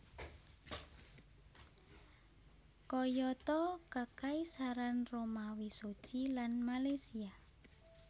Kayata Kekaisaran Romawi Suci lan Malaysia